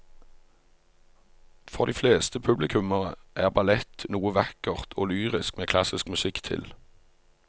For de fleste publikummere er ballett noe vakkert og lyrisk med klassisk musikk til.